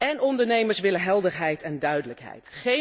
En ondernemers willen helderheid en duidelijkheid.